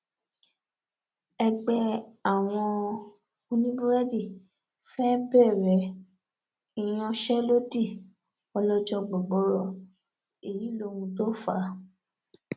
ẹgbẹ àwọn oníbúrẹdì fẹẹ bẹrẹ ìyanṣẹlódì ọlọjọ gbọgboro èyí lóhun tó fà á